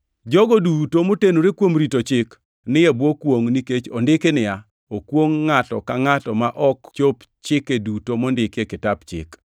Jogo duto motenore kuom rito Chik ni e bwo kwongʼ, nikech ondiki niya, “Okwongʼ ngʼato ka ngʼato ma ok chop chike duto mondiki e kitap Chik.” + 3:10 \+xt Rap 27:26\+xt*